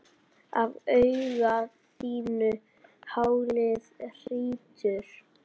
Af auga þínu haglið hrýtur.